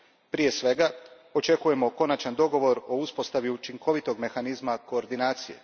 Prije svega, očekujemo konačan dogovor o uspostavi učinkovitog mehanizma koordinacije.